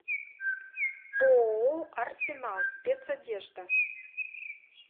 ооо арсенал спецодежда